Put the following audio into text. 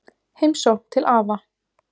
Heimsókn til afa